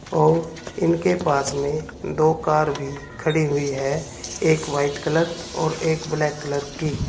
और इनके पास में दो कार भी खड़ी हुई है एक वाइट कलर एक ब्लैक कलर की।